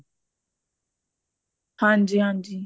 ਹਾਂਜੀ ਹਾਂਜੀ